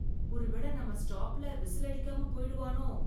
ஒருவேளை நம்ம ஸ்டாப்ல விசில் அடிக்காம போயிடுவானோ?